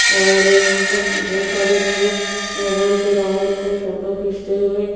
और यहां पर बहुत सारे लोग मोबाइल से रावण को फोटो खींचते हुए--